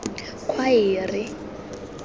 khwaere